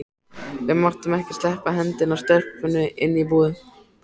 Við máttum ekki sleppa hendinni af stelpunni inni í búðum.